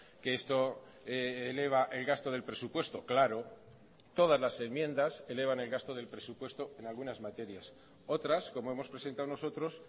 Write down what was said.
que esto eleva el gasto del presupuesto claro todas las enmiendas elevan el gasto del presupuesto en algunas materias otras como hemos presentado nosotros